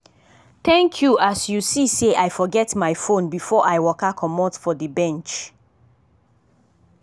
thank you as you see sey i forget my fone before i waka comot for the bench.